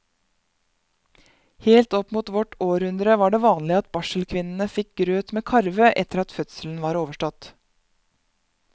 Helt opp mot vårt århundre var det vanlig at barselkvinnene fikk grøt med karve etter at fødselen var overstått.